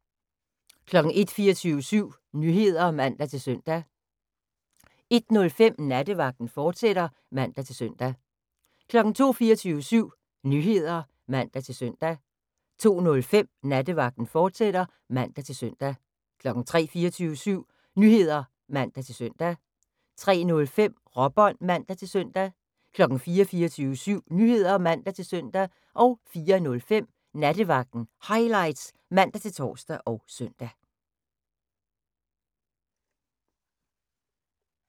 01:00: 24syv Nyheder (man-søn) 01:05: Nattevagten, fortsat (man-søn) 02:00: 24syv Nyheder (man-søn) 02:05: Nattevagten, fortsat (man-søn) 03:00: 24syv Nyheder (man-søn) 03:05: Råbånd (man-søn) 04:00: 24syv Nyheder (man-søn) 04:05: Nattevagten Highlights (man-tor og søn)